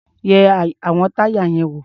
Yẹ àwọn táyà yẹn wò.